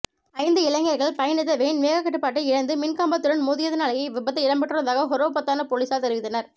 ஜந்து இளைஞர்கள் பயணித்த வேன் வேகக்கட்டுப்பாட்டை இழந்து மின் கம்பத்துடன் மோதியதினாலேயே இவ்விபத்து இடம் பெற்றுள்ளதாக ஹொரவ்பொத்தான பொலிஸார் தெரிவித்தனர்